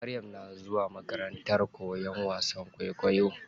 Maryam na zuwa makarantar koyan wasan kwaikwayo.